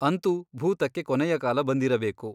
ಅಂತೂ ಭೂತಕ್ಕೆ ಕೊನೆಯ ಕಾಲ ಬಂದಿರಬೇಕು.